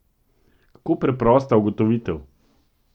Kako preprosta ugotovitev!